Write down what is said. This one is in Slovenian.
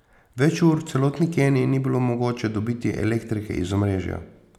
Več ur v celotni Keniji ni bilo mogoče dobiti elektrike iz omrežja.